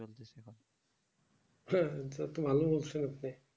হ্যাঁ হ্যাঁ তাদের তো ভালো বলছেন আপনি